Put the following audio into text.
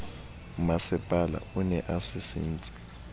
mmasepala o ne a sisintse